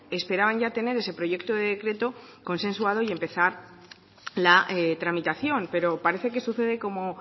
esperaban ya tener ese proyecto de decreto consensuado y empezar la tramitación pero parece que sucede como